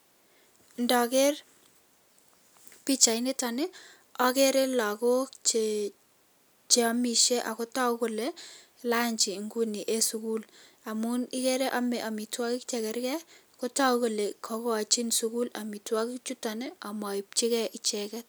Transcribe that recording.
Ndoker pichainitonii okerelokok chee cheomishe ako tokukolee lanchi ingunii eensukul anunikere omee omitwokik chekerkee kotokukolee kokochin sukul omitwokik chutonii omoibchikei icheken